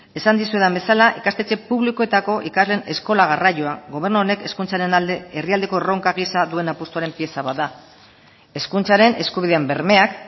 esan dizuedan bezala ikastetxe publikoetako ikasleen eskola garraioa gobernu honek hezkuntzaren alde herrialdeko erronka gisa duen apustuaren pieza bat da hezkuntzaren eskubideen bermeak